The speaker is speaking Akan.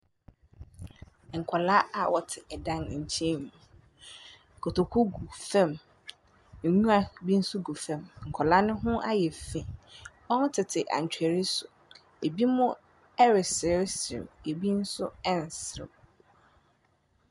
Nkwadaa a wɔte dan nkyɛn mu. Kotokuo gu fam. Nwura bi nso gu fam. Nkwadaa no ho ayɛ fi. Wɔtete atwere so. Ebinom reseresere, ebinom nso resereɛ.